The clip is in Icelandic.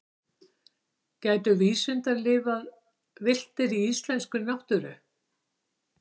gætu vísundar lifað villtir í íslenskri náttúru